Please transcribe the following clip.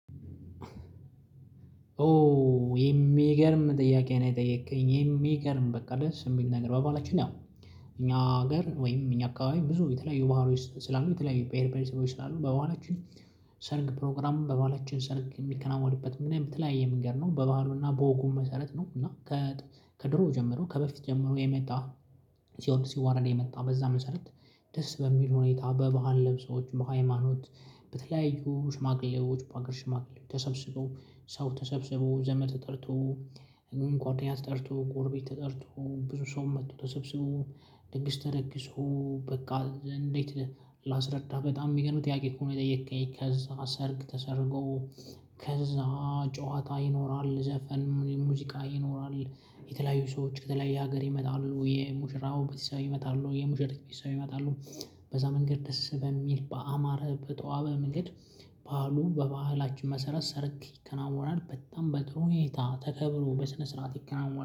ኦ የሚገርም ጥያቄ ነው። የጠየከኝ የሚገርም በቃ ደስ የሚል ነገር በባላችን ያው እኛ ሀገር ወይም እኛ አካባቢ ብዙ የተለያዩ ባሀሎች ስላሉ የተለያዩ ብሄር ብሄረሰቦች ስላሉ በባሀላችን ሰርግ ፕሮግራሙን በባሀላችን ሰርግ የሚከናወንበት ምን የተለያይ መንገድ ነው? በባህሉና በወጉም መሰረት ነው። እና ከ ከድሮ ጀምሮ ከበፊት ጀምሮ የመጣ ሲወርድ ሲዋረድ የመጣ በዛ መሰረት። ደስ በሚል ሁኔታ በባህል ልብሶዎች በሃይማኖት በተለያዩ ሽማግሌዎች በአገር ሽማግሌዎች ተሰብስበው ሰው ተሰብስቦው ዘመድ ተጠርቶ ጓደኛ ተጠርቶ ጎርቤት ተጠርቶ ብዙ ሰውም መጥቶ ተሰብስቦ። ድግስ ተደግሶ በቃ እንዴት ላስረዳህ በጣም የሚገርም ጥያቄ አኮ የጠየከኝ ከዛ ሰርግ ተሰርጎ ከዛ ጨዋታ ይኖራል። ዘፈን ሙዚቃ ይኖራል። የተለያዩ ሰዎች ከተለያየ ሀገር ይመጣሉ የሙሽራው ቤተሰብ ይመጣሉ የሙሽሪት ቤተሰብ ይመጣሉ። በዛ መንገድ ደስ በሚል በአማረ በተዋበ መንገድ በዓሉ በባህላችን መሰረት ሰርግ ይከናወናል። በጣም በጥሩ ሁኔታ ተከብሮ በስነ ስርዓት ይከናወናል